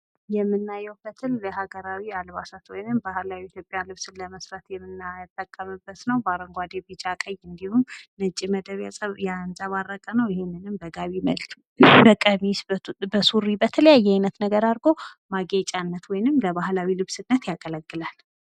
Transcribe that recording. የምናየው ፈትል የሀገራዊ አልባሳት ወይንም ባህላዊ ኢትዮጵያ ልብስ ለመስራት የምናጠቀመበት ነው። አረንጓዴ ቀይ ቢጫ እንዲሁም ነጭ መድብ የተንፀባረቀ ለቀሚስ ለሱሪ በተለያየ አይነት ነገር አርጎ ማግኘት ወይንም ለባህላዊ ልብስነት ያገለግላል።